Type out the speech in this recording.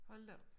Hold da op